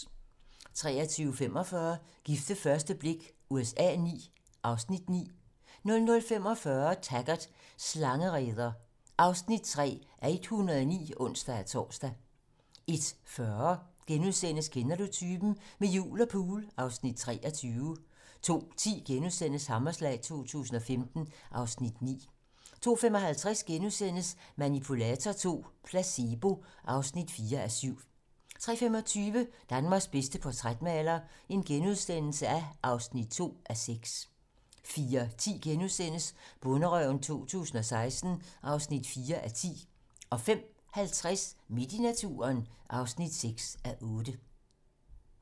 23:45: Gift ved første blik USA IX (Afs. 9) 00:45: Taggart: Slangereder (3:109)(ons-tor) 01:40: Kender du typen? - Med jul og pool (Afs. 23)* 02:10: Hammerslag 2015 (Afs. 9)* 02:55: Manipulator II - placebo (4:7)* 03:25: Danmarks bedste portrætmaler (2:6)* 04:10: Bonderøven 2016 (4:10)* 05:50: Midt i naturen (6:8)